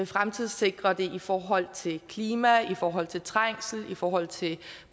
fremtidssikre det i forhold til klima i forhold til trængsel i forhold til